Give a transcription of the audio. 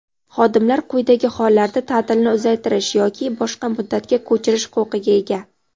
Xodimlar quyidagi hollarda taʼtilni uzaytirish yoki boshqa muddatga ko‘chirish huquqiga ega:.